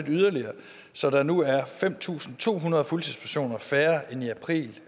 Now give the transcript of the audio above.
yderligere så der nu er fem tusind to hundrede fuldtidspersoner færre end i april